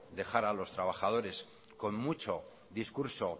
dejar a los trabajadores con mucho discurso